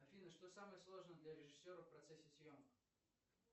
афина что самое сложное для режиссера в процессе съемок